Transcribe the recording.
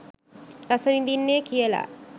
රස විඳින්නේ කියලා.